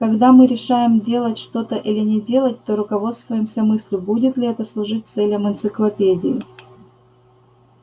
когда мы решаем делать что-то или не делать то руководствуемся мыслью будет ли это служить целям энциклопедии